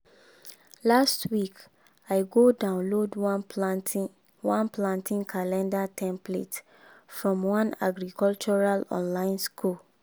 last week i go download one planting one planting calendar template from one agricultural online school.